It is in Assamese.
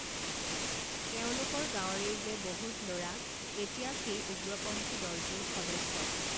তেওঁলোকৰ গাঁৱৰেই যে বহুত লৰা এতিয়া সেই উগ্ৰপন্থী দলটোৰ সদস্য